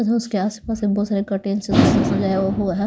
उसके आसपास से बहुत सारे कर्टेंस सजाया हुआ है.